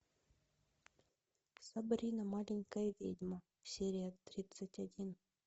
сабрина маленькая ведьма серия тридцать один